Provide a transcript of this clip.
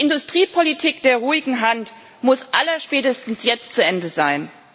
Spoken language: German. Die Industriepolitik der ruhigen Hand muss allerspätestens jetzt zu Ende sein.